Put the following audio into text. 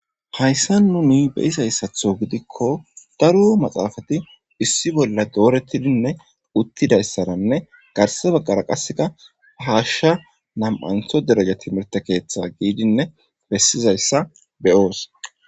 Hayssa nu ni beyizayssatho gidikko daro maxaafati issi bolla doorettidinne uttidayssaranne garse baggara qasseka haashsha nam'antho dereja timirte keeththa giidinne bessizayssa beyoos.